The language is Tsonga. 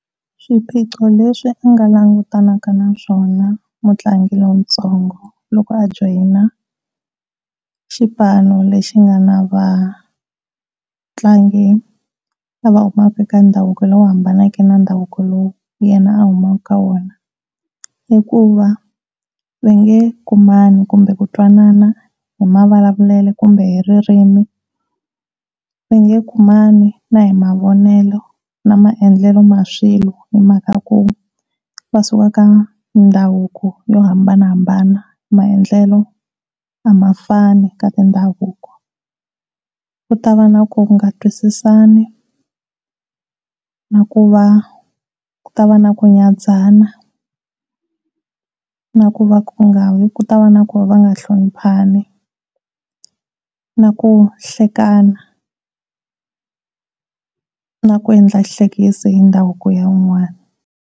Swiphiqo leswi u nga langutanaka na swona mutlangi lontsongo loko a join xipano lexi nga na vatlangi lava va humaka eka ndhavuko lowu hambaneke na ndhavuko lowu yena a humaka eka wona. Hikuva va nge kumani kumbe ku twanana hi mavulavulelo kumbe hi ririmi, va nge kumani na hi mavonelo na maendlelo ma swilo hi mhaka ku va suka ka ndhavuko yo hambanahambana maendlelo a ma fani ka mindhavuko. Ku ta va na ku nga twisisani na ku va ku ta va na ku nyanatsana na ku va ku nga ku ta va na ku nga hloniphani na ku hlekana na ku endla xihlekisa hi ndhavuko wa un'wani.